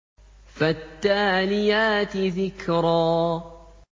فَالتَّالِيَاتِ ذِكْرًا